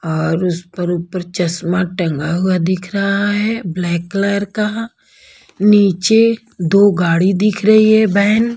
और उस पर ऊपर चश्मा टंगा हुआ दिख रहा है ब्लैक कलर का नीचे दो गाड़ी दिख रही है वैन --